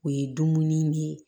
O ye dumuni ne